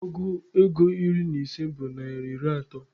Ọgụ ego iri na ise bụ naịra iri atọ.